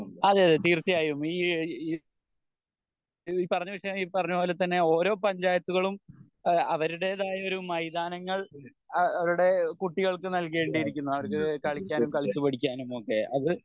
അതെയതെ തീർച്ചയായും ഈ ഈ പറഞ്ഞുവെച്ചത് ഈ പറഞ്ഞ പോലെ തന്നെ ഓരോ പഞ്ചായത്തുകളും ഇഹ് അവരുടേതായ ഒരു മൈതാനങ്ങൾ അഹ് അവരുടെ കുട്ടികൾക്ക് നൽകേണ്ടിയിരിക്കുന്നു അവർക്ക് കളിക്കാനും കളിച്ച് പഠിക്കാനും ഒക്കെ അത്